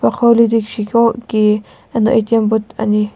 akhou lidikishi qo ki eno atm boot ani.